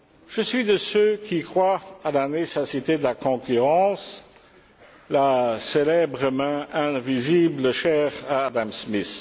Je suis de ceux qui croient à la nécessité de la concurrence, la célèbre main invisible chère à Adam Smith.